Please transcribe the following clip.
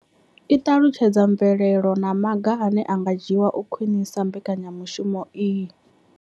I ṱalutshedza mvelelo na maga ane a nga dzhiwa u khwinisa mbekanya mushumo iyi.